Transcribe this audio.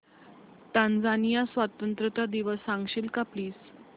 Tanzania स्वतंत्रता दिवस सांगशील का प्लीज